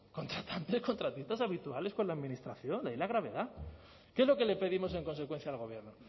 contratantes contratistas habituales con la administración de ahí la gravedad qué es lo que le pedimos en consecuencia el gobierno